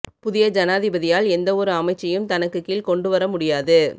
புதிய ஜனாதிபதியால் எந்தவொரு அமைச்சையும் தனக்கு கீழ் கொண்டு வர முடியாது